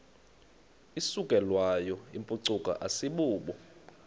isukelwayo yimpucuko asibubo